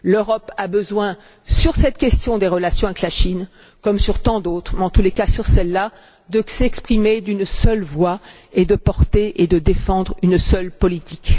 L'Europe a besoin, sur cette question des relations avec la Chine, comme sur tant d'autres, mais particulièrement sur celle là, de s'exprimer d'une seule voix et de porter et de défendre une seule politique.